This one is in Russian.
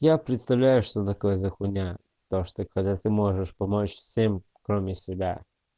я представляю что такое за хуйня то чтопотому что ты когда можешь помочь всем кроме себя